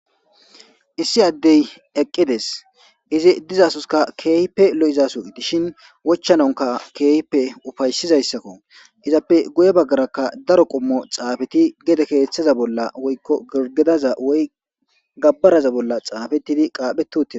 Issi addey eqqides izzi dizzsoka kehipe lo'izaso gidishin wochanaka kehippe ufayisizasako izzappe guye bagara daro qommo xafeti gede kethaza bolla woyko girgidaza bolla woy gabaraza bolla xafetidi qapheti uttides.